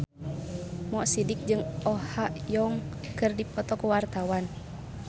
Mo Sidik jeung Oh Ha Young keur dipoto ku wartawan